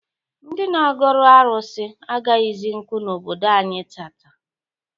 Ndị na-agọrụ arụsị agaghịzi nkụ n'obodo anyị taata.